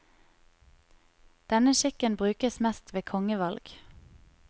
Denne skikken brukes mest ved kongevalg.